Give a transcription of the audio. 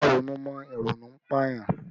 Má ronú mọ! Ìrònú ń pà yàn!